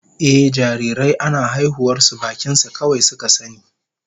Ehh, jarirai ana haihuwar su bakin su kawai suka sani